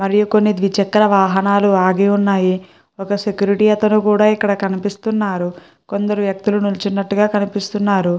మరియు కొన్ని ద్విచక్ర వాహనాలు ఆగి ఉన్నాయి. ఒక సెక్యూరిటీ అతను కూడా ఇక్కడ కనిపిస్తున్నారు. కొందరు వ్యక్తులు నిలుచున్నట్టుగా కనిపిస్తున్నారు.